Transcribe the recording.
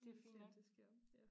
Så må vi se om det sker ja